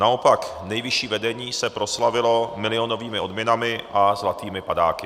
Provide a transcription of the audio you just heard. Naopak nejvyšší vedení se proslavilo milionovými odměnami a zlatými padáky.